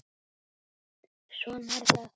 Svona er það.